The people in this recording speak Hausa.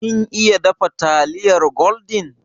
Kin iya dafa taliyar gwaldin?